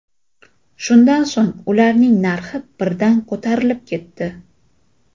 Shundan so‘ng ularning narxi birdan ko‘tarilib ketdi.